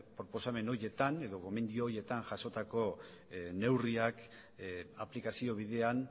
proposamen edo gomendio horietan jasotako neurriak aplikazio bidean